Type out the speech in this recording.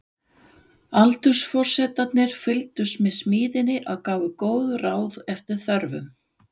Aldursforsetarnir fylgdust með smíðinni og gáfu góð ráð eftir þörfum.